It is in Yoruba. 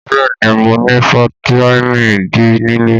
Bẹ́ẹ̀ ni, mo ní fataímìn D nílé.